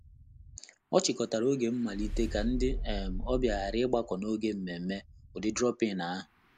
Ọ chịkọtara oge mmalite ka ndị um ọbịa ghara ịgbakọ n'oge mmemme ụdị 'drop-in'ahu.